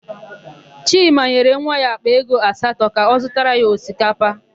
Chima nyere nwa ya àkpà ego asatọ ka ọ zụtara ya osikapa.